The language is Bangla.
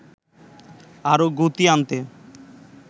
আরও গতি আনতে